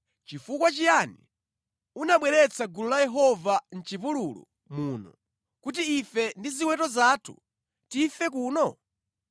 Chifukwa chiyani unabweretsa gulu la Yehova mʼchipululu muno, kuti ife ndi ziweto zathu tife kuno?